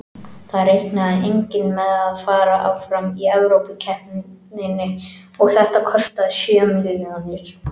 Það reiknaði enginn með að fara áfram í Evrópukeppninni og þetta kostaði sjö milljónir.